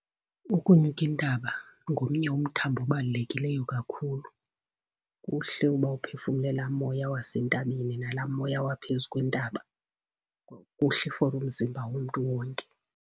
Ukunyuka intaba ngomnye umthambo obalulekileyo kakhulu. Kuhle uba uphefumle laa moya wasentabeni nalaa moya waphezu kwentaba. Kuhle for umzimba womntu wonke.